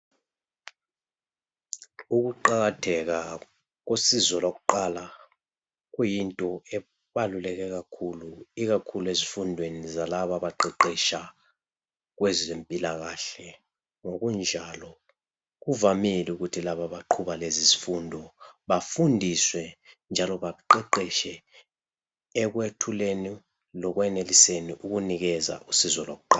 Ukuqakatheka kosizo lwakuqala kuyinto ebaluleke kakhulu, ikakhulu ezifundweni zalabo abaqeqetsha kwezempilakahle. Ngokunjalo kuvamile ukuthi laba abaqhuba lezizifundo bafundiswe njalo baqeqetshe ekwethuleni lekweneliseni ukunikeza usizo lwakuqala.